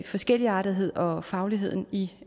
forskelligartetheden og fagligheden i